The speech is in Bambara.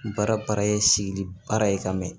Baara para ye sigili baara ye ka mɛn